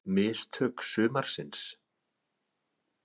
Mistök sumarsins?